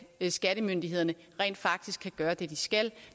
skattemyndighederne rent faktisk kan gøre det de skal